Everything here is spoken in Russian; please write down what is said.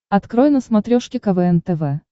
открой на смотрешке квн тв